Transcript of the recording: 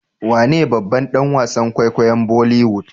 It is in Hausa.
wane babban danwasan kwaikwayom boliwoood